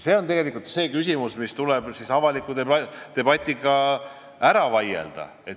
See on tegelikult see küsimus, mis tuleb avalikus debatis läbi vaielda.